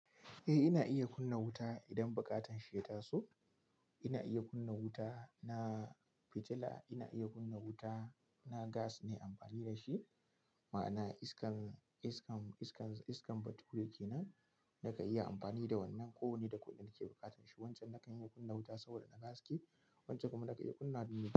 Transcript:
Eh ina iya kunna wuta idan buƙatar shi ya taso. Ina iya kunna wuta na fitila, ina iya kunna wuta na gas ne amfani da shi. Ma'ana iskan, iskan, iskan, iskan bature ke nan nakan iya amfani da wannan ko wanne da kunne da ke buƙatanshi. Wancan nakan iya kunna wuta saboda na gaske, wancan kuma nakan iya kunna domin.